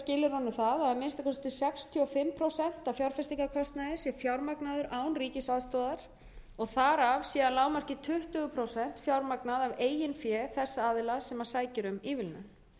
skilyrðunum það að að minnsta kosti sextíu og fimm prósent af fjárfestingarkostnaði sé fjármagnaður án ríkisaðstoðar og þar af sé að lágmarki tuttugu prósent fjármagnað af eigin fé þess aðila sem sækir um ívilnun